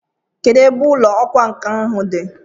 Kedụ ebe ụlọ ọkwa nkà ahụ dị?